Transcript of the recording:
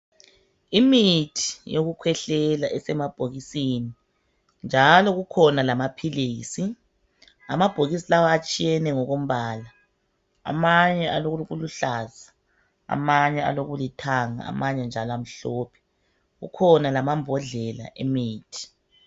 Imithi yokukhwehlela esemabhokisini njalo kukhona lamaphilisi. Amabhokisi lawa atshiyene ngokombala .Amanye alokuluhlaza amanye alokulithanga amanye njalo amhlophe .Kukhona lamambodlela emithi.